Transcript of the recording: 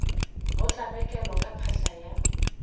go tlabakelwa ka phahla ya